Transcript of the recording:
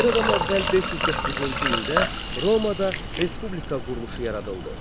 Eradan əvvəl 509-cu ildə Romada respublika quruluşu yaradıldı.